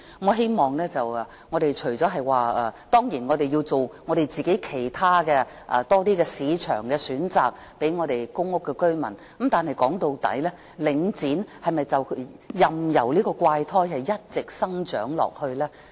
我們當然要提供更多其他市場選擇給公屋居民，但說到底，我們是否任由領展這個怪胎一直生長下去呢？